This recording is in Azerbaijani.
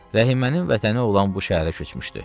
Rəhimənin vətəni olan bu şəhərə köçmüşdü.